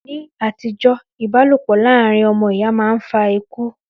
Ní àtijọ́, ìbálòpọ̀ láàrin ọmọ ìyá máa ń fa ikú